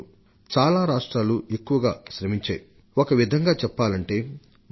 దేశం నలుమూలల నుండి అందిన సమాచారం బట్టి చూస్తే అక్కడ పాలక పక్షంగా ఏ పార్టీ ఉన్నప్పటికీ సరే